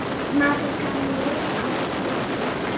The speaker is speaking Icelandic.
Maður kann nú á dúfur!